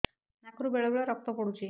ନାକରୁ ବେଳେ ବେଳେ ରକ୍ତ ପଡୁଛି